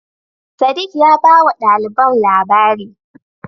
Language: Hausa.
Sadiq ya bawa ɗaliban labari.